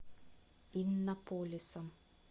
иннополисом